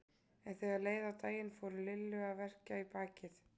En þegar leið á daginn fór Lillu að verkja í bakið.